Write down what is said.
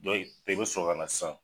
Don in de bɛ sɔrɔ kana san.